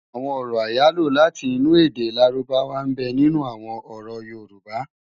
Awòn òrò áyáló láti inú èdè lárúbáwá nbè ninú awòn òrò yórùbå